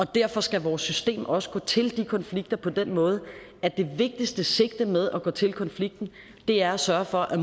derfor skal vores system også gå til de konflikter på den måde at det vigtigste sigte med at gå til konflikten er at sørge for at